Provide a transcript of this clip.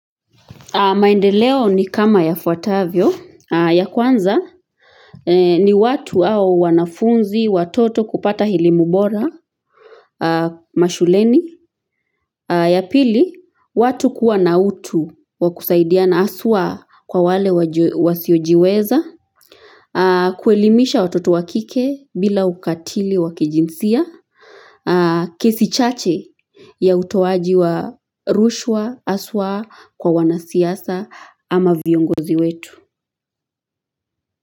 Maendeleo ni kama yafuatavyo, ya kwanza ni watu au wanafunzi, watoto kupata elimu bola mashuleni. Ya pili, watu kuwa na utu wa kusaidiana haswaa kwa wale wasiojiweza. Kuelimisha watoto wa kike bila ukatili wakijinsia. Kesi chache ya utoaji wa rushwa haswaa kwa wanasiasa ama viongozi wetu.